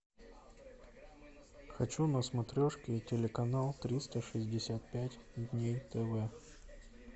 хочу на смотрешке телеканал триста шестьдесят пять дней тв